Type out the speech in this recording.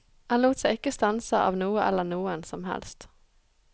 Han lot seg ikke stanse av noe eller noen som helst.